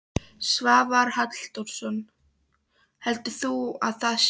Svavar Halldórsson: Heldur þú að það sé?